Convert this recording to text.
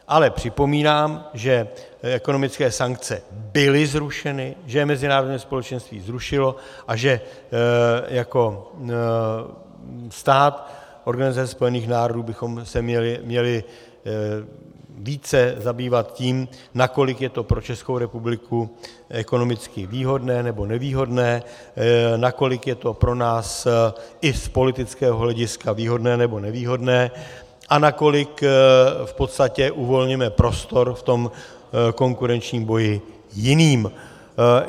Ale připomínám, že ekonomické sankce byly zrušeny, že je mezinárodní společenství zrušilo a že jako stát Organizace spojených národů bychom se měli více zabývat tím, nakolik je to pro Českou republiku ekonomicky výhodné nebo nevýhodné, nakolik je to pro nás i z politického hlediska výhodné nebo nevýhodné a nakolik v podstatě uvolňujeme prostor v tom konkurenčním boji jiným.